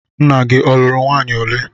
Nna gị ọ lụrụ nwaanyị ole?